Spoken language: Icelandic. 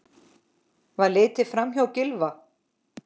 Var litið framhjá Gylfa?